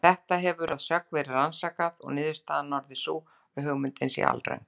Þetta hefur að sögn verið rannsakað, og niðurstaðan orðið sú að hugmyndin sé alröng.